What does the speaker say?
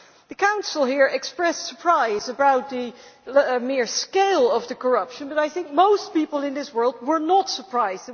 The Council here expressed surprise at the scale of the corruption, but I think most people in this world were not surprised.